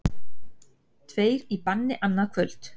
Tveir í banni annað kvöld